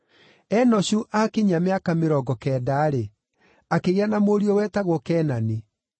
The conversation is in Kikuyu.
Enoshu aakinyia mĩaka mĩrongo kenda-rĩ, akĩgĩa na mũriũ wetagwo Kenani.